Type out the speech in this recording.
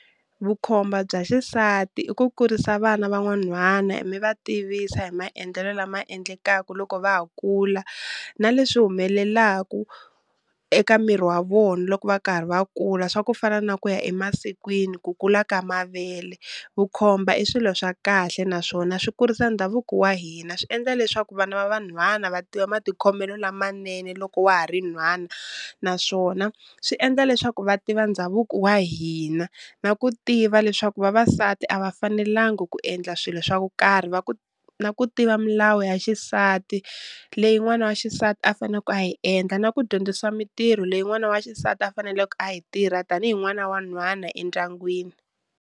Vukhomba bya xisati i ku kurisa vana van'wanhwana mi va tivisa hi maendlelo lama endlekaku loko va ha kula, na leswi humelelaku eka miri wa vona loko va karhi va kula swa ku fana na ku ya emasikwini, ku kula ka mavele. Vukhomba i swilo swa kahle naswona swi kurisa ndhavuko wa hina swi endla leswaku vana va vanhwana va tiva matikhomelo lamanene loko wa ha ri nhwana, naswona swi endla leswaku va tiva ndhavuko wa hina, na ku tiva leswaku va va nsati a va fanelangi ku endla swilo swa ku karhi, na ku tiva milawu ya xisati leyi n'wana wa xisati a faneku a yi endla, na ku dyondzisa mintirho leyi n'wana wa xisati a faneleke a yi tirha tanihi n'wana wa nhwana endyangwini.